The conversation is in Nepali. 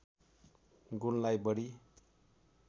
गुणलाई बढी